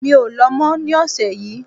Mi ò lọ mọ̀ ní ọ̀sẹ̀ yìí